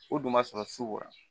O dun ma sɔrɔ sukoro